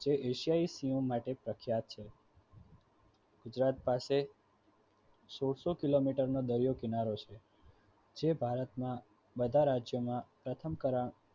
એ માટે પ્રખ્યાત છે. ગુજરાત પાસે સોલસો કિ. મી. નો દરિયો છે જે ભારતના બધા રાજ્યોમાં પ્રથમ